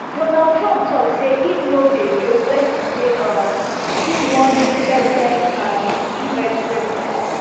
donald trump tok say im no dey joke wen e say um im wan do third term as us president